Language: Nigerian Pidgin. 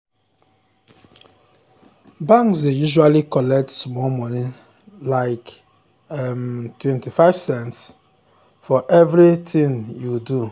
banks dey usually collect small money like um 25 cents for um every um tin you do